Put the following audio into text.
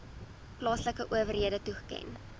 plaaslike owerhede toeken